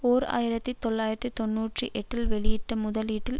ஓர் ஆயிரத்தி தொள்ளாயிரத்தி தொன்னூற்றி எட்டில் வெளியீட்டு முதலீட்டில்